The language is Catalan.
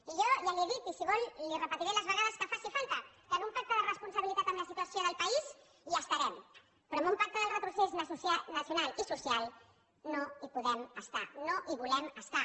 i jo ja li ho he dit i si ho vol li ho repetiré les vegades que faci falta que en un pacte de responsabilitat amb la situació del país hi estarem però en un pacte del retrocés nacional i social no hi podem estar no hi volem estar